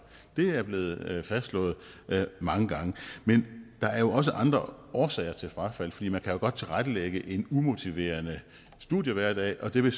det er blevet fastslået mange gange men der er jo også andre årsager til frafald for man kan godt tilrettelægge en umotiverende studiehverdag og det vil